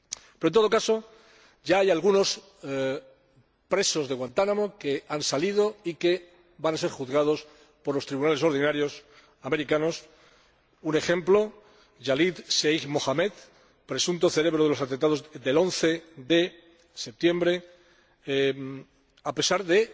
Pero, en todo caso, ya hay algunos presos de Guantánamo que han salido y que van a ser juzgados por los tribunales ordinarios estadounidenses, como, por ejemplo, Khalid Sheikh Mohammed, presunto cerebro de los atentados del 11 de septiembre, a pesar de